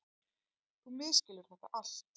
Þú misskilur þetta allt.